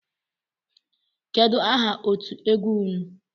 Kedụ aha otú egwu ụnụ?